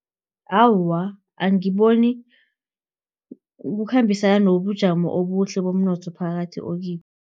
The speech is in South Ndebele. Awa, angiboni kukhambisana nobujamo obuhle bomnotho phakathi okibo.